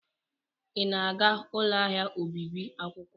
Ị na-aga ụlọ ahịa obibi akwụkwọ?